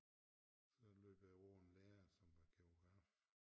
Så løb jeg over en lærer som var geograf